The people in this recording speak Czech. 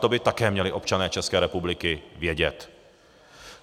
To by také měli občané České republiky vědět.